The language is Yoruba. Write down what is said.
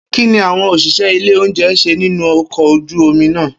Kini awọn oṣiṣẹ ile ounjẹ ṣe ninu ọkọ oju omi naa?